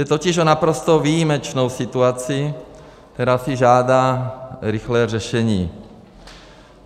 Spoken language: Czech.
Jde totiž o naprosto výjimečnou situaci, která si žádá rychlé řešení.